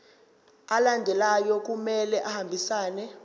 alandelayo kumele ahambisane